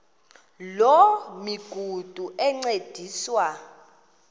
loo migudu encediswa